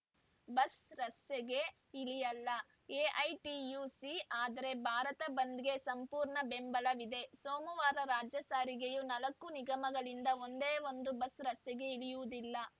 bus ರಸ್ತೆಗೆ ಇಳಿಯಲ್ಲಎಐಟಿಯುಸಿ ಆದರೆ ಭಾರತ ಬಂದ್‌ಗೆ ಸಂಪೂರ್ಣ ಬೆಂಬಲವಿದೆ ಸೋಮವಾರ ರಾಜ್ಯ ಸಾರಿಗೆಯ ನಾಲ್ಕು ನಿಗಮಗಳಿಂದ ಒಂದೇ ಒಂದು ಬಸ್‌ ರಸ್ತೆಗೆ ಇಳಿಯುವುದಿಲ್ಲ